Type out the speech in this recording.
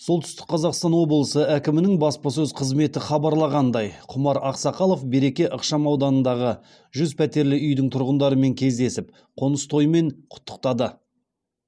солтүстік қазақстан облысы әкімінің баспасөз қызметі хабарлағандай құмар ақсақалов береке ықшамауданындағы жүз пәтерлі үйдің тұрғындарымен кездесіп қоныс тоймен құттықтады